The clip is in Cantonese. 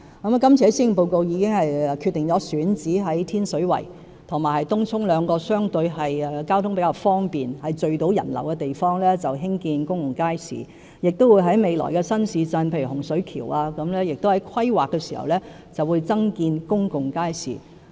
我在這份施政報告中已決定在天水圍和東涌兩個相對交通方便，而且能夠聚集人流的選址興建公共街市，亦會在未來新市鎮，例如洪水橋，在規劃時增建公共街市。